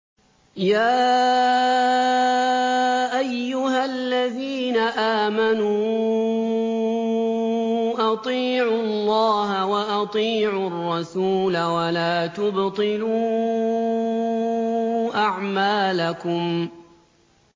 ۞ يَا أَيُّهَا الَّذِينَ آمَنُوا أَطِيعُوا اللَّهَ وَأَطِيعُوا الرَّسُولَ وَلَا تُبْطِلُوا أَعْمَالَكُمْ